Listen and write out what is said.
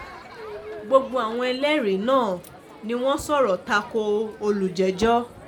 gbogbo àwọn ẹlẹ́rìí náà ni wọ́n sọ̀rọ̀ ta ko olùjẹ́jọ́